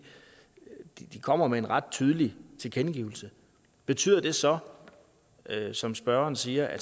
de kommer med en ret tydelig tilkendegivelse betyder det så som spørgeren siger at